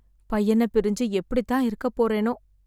பையன பிரிஞ்சு எப்படி தான் இருக்க போறேனோ